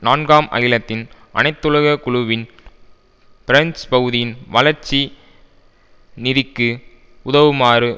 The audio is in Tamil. நான்காம் அகிலத்தின் அனைத்துலக குழுவின் பிரெஞ்சு பகுதியின் வளர்ச்சி நிதிக்கு உதவுமாறு